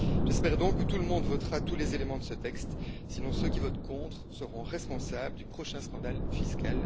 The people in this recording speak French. J'espère donc que tout le monde votera tous les éléments de ce texte, sinon ceux qui votent contre seront responsables du prochain scandale fiscal.